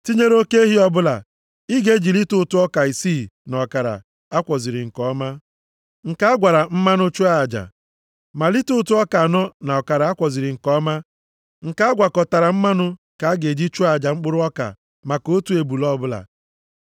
Tinyere oke ehi ọbụla, ị ga-eji lita ụtụ ọka isii na ọkara a kwọziri nke ọma, nke a gwara mmanụ chụọ aja. Ma lita ụtụ ọka anọ na ọkara a kwọziri nke ọma, nke a gwakọtakwara mmanụ ka a ga-eji chụọ aja mkpụrụ ọka maka otu ebule ọbụla.